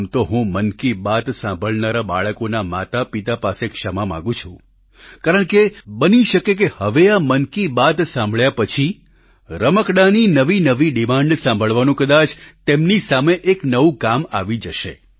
આમ તો હું મન કી બાત સાંભળનારા બાળકોના માતાપિતા પાસે ક્ષમા માંગુ છું કારણ કે બની શકે કે હવે આ મન કી બાત સાંભળ્યા પછી રમકડાંની નવી નવી ડિમાન્ડ સાંભળવાનું કદાચ તેમની સામે એક નવું કામ આવી જશે